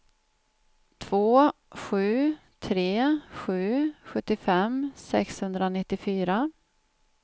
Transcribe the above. två sju tre sju sjuttiofem sexhundranittiofyra